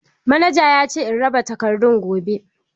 Manaja yace in raba takardan gobe.